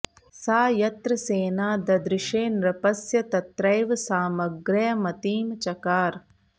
सा यत्र सेना ददृषे नृपस्य तत्रैव सामग्र्यमतिं चकार